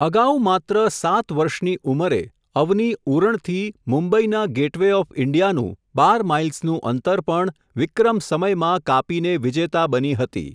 અગાઉ માત્ર, સાત વર્ષની ઉંમરે, અવનિ ઉરણથી, મુંબઈના ગૅટ વે ઓફ ઇન્ડિયાનું, બાર માઈલ્સનું અંતર પણ, વિક્રમ સમયમાં, કાપીને વિજેતા બની હતી.